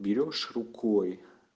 берёшь рукой